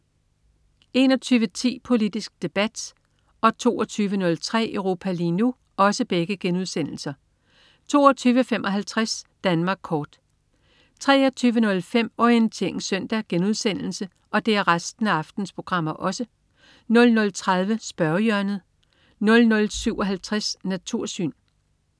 21.10 Politisk Debat* 22.03 Europa lige nu* 22.55 Danmark Kort 23.05 Orientering Søndag* 00.30 Spørgehjørnet* 00.57 Natursyn*